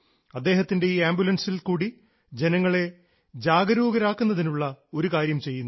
അദ്ദേഹത്തിൻറെ ഈ ആംബുലൻസിൽ കൂടി ജനങ്ങളെ ജാഗരൂകരാക്കുന്നതിനുള്ള ഒരു കാര്യം ചെയ്യുന്നു